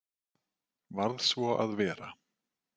Varð svo að vera.